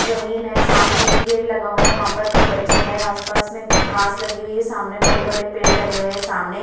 जमीन है सामने एक गेट लगा हुआ है वहां पर दो बच्चे हैं आसपास में घास लगी हुई है सामने बड़े-बड़े पेड़ लगे हुए हैं सामने--